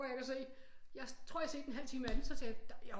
Orker jeg ikke at se jeg tror jeg har set en halv time af den så tænkte jeg